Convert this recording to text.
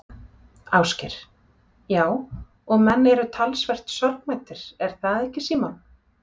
Ásgeir: Já og menn eru talsvert sorgmæddir er það ekki Símon?